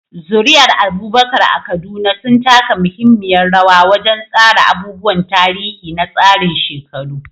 Zuri'ar Abubakar a Kaduna sun taka muhimmiyar rawa wajen tsara abubuwan tarihi na tsarin shekaru.